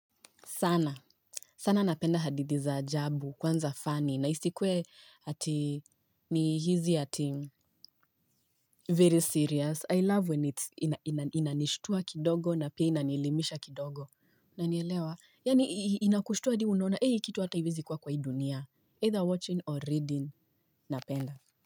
Sana. Sana napenda hadithii za ajabu kwanza funny na isikuwe ati ni hizi ati very serious. I love when it's inanishtua kidogo na pia inanielimisha kidogo. Unanielewa. Yaani inakushtua hadi wewe unona. HIi kitu hata haiwezi kuwa kwa hii dunia. Either watching or reading. Napenda.